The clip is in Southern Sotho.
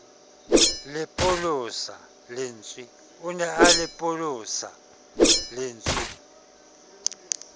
o ne a lepolosa lentswe